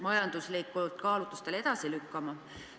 ... majanduslikel kaalutlustel edasi lükkama.